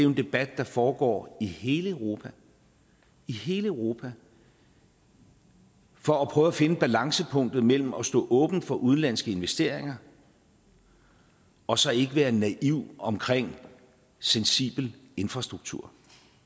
en debat der foregår i hele europa i hele europa for at prøve at finde balancepunktet mellem at stå åben for udenlandske investeringer og så ikke være naiv omkring sensibel infrastruktur